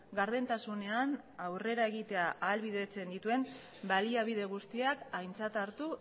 gardentasunean aurrera egitea ahalbidetzen dituen baliabide guztiak aintzat hartu